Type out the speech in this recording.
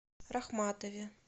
рахматове